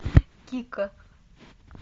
кика